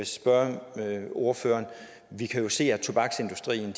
spørge ordføreren vi kan jo se at tobaksindustrien